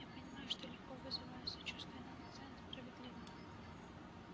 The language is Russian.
я понимаю что легко вызываю сочувствие но наказание справедливо